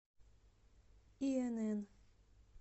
инн